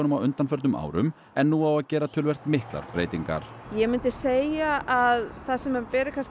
á undanförnum árum en nú á að gera töluvert miklar breytingar ég myndi segja að það sem beri